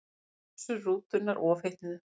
Bremsur rútunnar ofhitnuðu